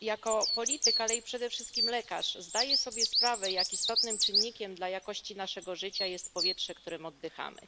Jako polityk, ale i przede wszystkim lekarz, zdaję sobie sprawę, jak istotnym czynnikiem dla jakości naszego życia jest powietrze, którym oddychamy.